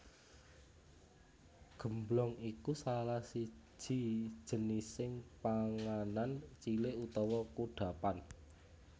Gemblong iku salah siji jenising panganan cilik utawa kudhapan